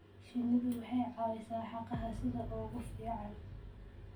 Shinnidu waxay caawisaa hagaha sida ugu fiican.